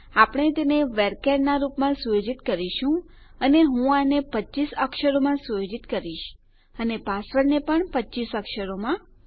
આપણે તેને વર્ચર્સ નાં રૂપમાં સુયોજિત કરીશું અને હું આને 25 અક્ષરોમાં સુયોજિત કરીશ અને પાસવર્ડને પણ 25 અક્ષરોમાં